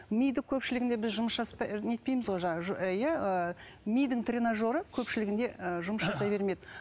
миды көпшілігінде біз жұмыс нетпейміз ғой жаңағы ы иә ы мидың тренажеры көпшілігінде ы жұмыс жасай бермейді